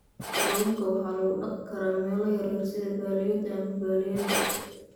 Kalluunka waxaa lagu dhaqi karaa meelo yaryar sida balliyada ama balliyada.